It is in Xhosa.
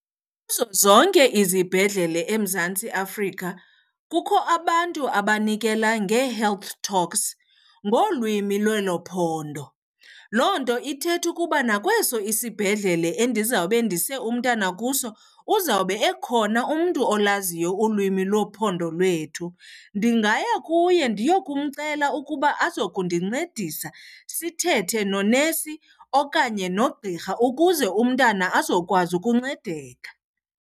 Kuzo zonke izibhedlele eMzantsi Afrika kukho abantu abanikela ngee-health talks ngolwimi lwelo phondo. Loo nto ithetha ukuba nakweso isibhedlele endizawube ndise umntana kuso uzawube ekhona umntu olaziyo ulwimi lophondo lwethu. Ndingaya kuye ndiyokumcela ukuba azokundincedisa sithethe nonesi okanye nogqirha ukuze umntana azokwazi ukuncedeka.